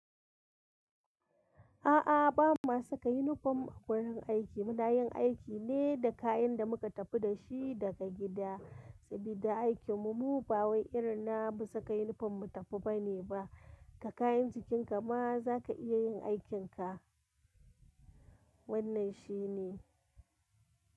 A'a, ba mu saka unifom a wurin aiki. Mu na yin aiki ne da kayan da mu ka tafi da shi daga gida. Sabida aikinmu, ba wai irinna ba saka unifom mu tafi ba ne ba. Da kayan jikinka ma za ka iya yin aikinka. Wannan shi ne.